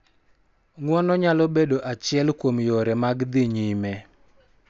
Ng�uono nyalo bedo achiel kuom yore mag dhi nyime,